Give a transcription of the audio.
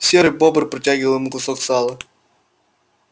серый бобр протягивал ему кусок сала